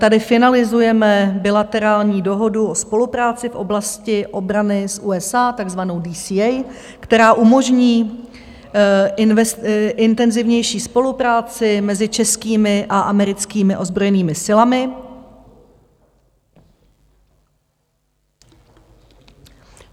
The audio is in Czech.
Tady finalizujeme bilaterální dohodu o spolupráci v oblasti obrany s USA, takzvanou DCA, která umožní intenzivnější spolupráci mezi českými a americkými ozbrojenými silami.